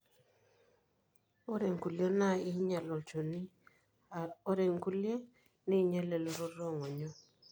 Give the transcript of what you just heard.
ore inkulie na kinyial olchoni ore ilkulie ninyial elototo ongonyo.